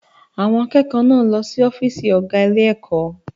Àwọn akẹ́kọ̀ọ́ náà lọ sí ọ́fíìsì ọ̀gá ilé-ẹ̀kọ́.